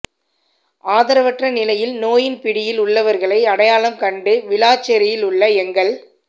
ஆதரவற்ற நிலையில் நோயின் பிடியில் உள்ளவர்களை அடையாளம் கண்டு விளாச் சேரியில் உள்ள எங்கள்